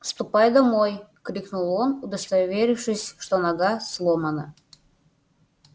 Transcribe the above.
ступай домой крикнул он удостоверившись что нога сломана